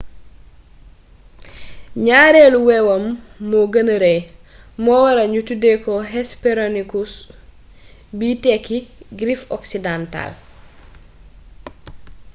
ñaareelu wewam griffe moo gëna rëy moo waral ñu tuddee ko hesperonychus biy tekki griffe occidentale